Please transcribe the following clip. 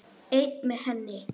Einn með henni.